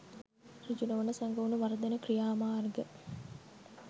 සෘජු නොවන සැඟවුණු මර්දන ක්‍රියාමාර්ග